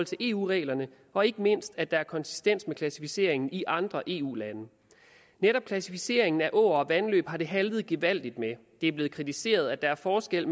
til eu reglerne og ikke mindst at der er konsistens til klassificeringen i andre eu lande netop klassificeringen af åer og vandløb har det haltet gevaldigt med det er blevet kritiseret at der er forskel